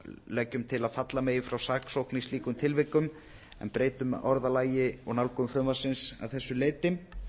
leggjum til að falla megi frá saksókn í slíkum tilvikum en breytum orðalagi og nálgun frumvarpsins að þessu leyti